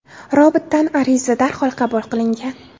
Robotdan ariza darhol qabul qilingan.